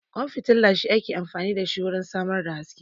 Ƙwan fitila shi ake amfani da shi wurin samar da haske